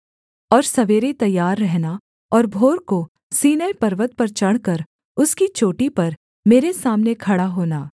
और सवेरे तैयार रहना और भोर को सीनै पर्वत पर चढ़कर उसकी चोटी पर मेरे सामने खड़ा होना